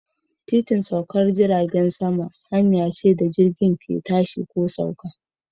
Titin saukar jiragen sama hanya ce da jirgin ke tashi ko sauka.